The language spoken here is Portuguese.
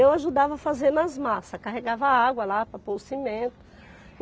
Eu ajudava fazendo as massas, carregava água lá para pôr o cimento.